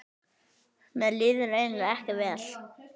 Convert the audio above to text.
Mér líður eiginlega ekki vel.